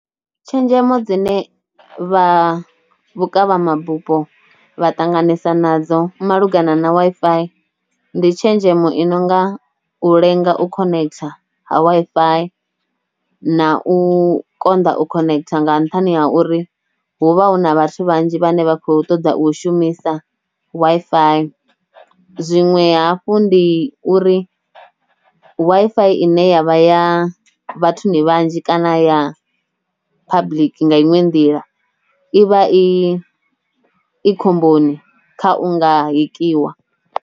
Tshenzhemo dzine vha vhukavhamabupo vha ṱanganesa nadzo malugana na Wi-Fi ndi tshenzhemo i nonga u lenga u khonekitha ha Wi-Fi, na u konḓa u khonekitha nga nṱhani ha uri hu vha hu na vhathu vhanzhi vhane vha kho ṱoḓa u shumisa Wi-Fi, zwinwe hafhu ndi uri Wi-Fi ine yavha ya vhathuni vhanzhi kana ya public nga inwe nḓila i vha i i khomboni kha u nga hekiwa.